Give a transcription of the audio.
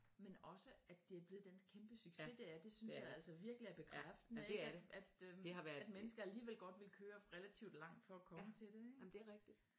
Men også at det er blevet den kæmpe succes det er det synes jeg altså virkelig er bekræftende ik at øh at mennesker alligevel godt vil køre relativt langt for at komme til det ik